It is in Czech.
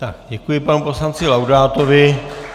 Tak, děkuji panu poslanci Laudátovi.